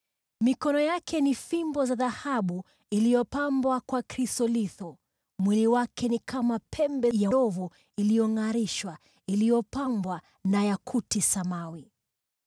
Mikono yake ni fimbo za dhahabu iliyopambwa kwa krisolitho. Mwili wake ni kama pembe ya ndovu iliyongʼarishwa iliyopambwa na yakuti samawi.